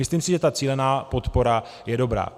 Myslím si, že ta cílená podpora je dobrá.